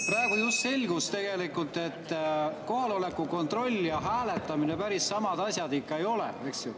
Praegu just selgus tegelikult, et kohaloleku kontroll ja hääletamine päris samad asjad ikka ei ole, eks ju.